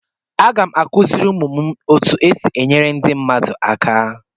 Aga m akụziri ụmụ m otu esi enyere ndị mmadụ aka.